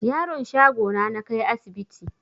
Yaron shago na nakai asibti